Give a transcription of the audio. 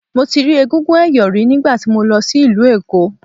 Mo ti rí egúngún ẹ̀yọ̀ rí nígbà tí mo lọ sí ìlú Èkó.